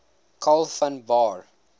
karl von baer